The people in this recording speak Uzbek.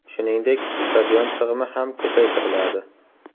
Shuningdek, stadion sig‘imi ham ko‘paytiriladi.